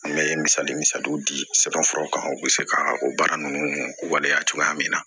An bɛ misali misali di sɛbɛn furaw kan u bɛ se ka o baara ninnu waleya cogoya min na